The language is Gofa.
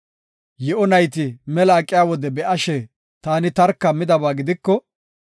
yi7o nayti mela aqiya wode be7ashe, taani tarka midaba gidiko,